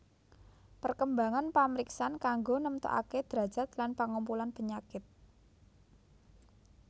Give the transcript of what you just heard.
Perkembangan pamriksan kanggo nemtokaké drajat lan pangumpulan penyakit